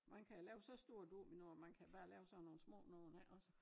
Man kan lave så store dominoer og man kan bare lave sådan nogen små nogen ikke også